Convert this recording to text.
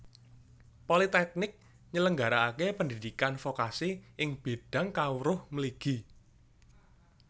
Politèknik nyelenggarakaké pendhidhikan vokasi ing bidang kawruh mligi